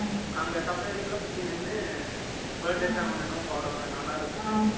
அங்க suppliers எல்லாம், சுத்தி நின்னு, Birthday song ஒண்ணு என்னமோ பாடுவாங்க. அது நல்லா இருக்கும்